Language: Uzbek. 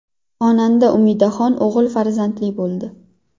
Xonanda Umidaxon o‘g‘il farzandli bo‘ldi.